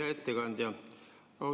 Hea ettekandja!